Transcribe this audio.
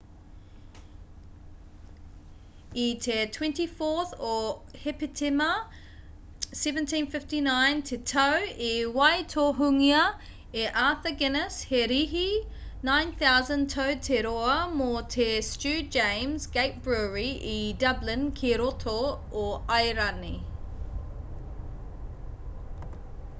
i te 24 o hepetema 1759 te tau i waitohungia e arthur guiness he rīhi 9,000 tau te roa mō te stew james' gate brewery i dublin ki roto o airani